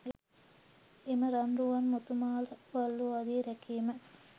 එම රන් රුවන් මුතු මාල වළලූ ආදිය රැකීම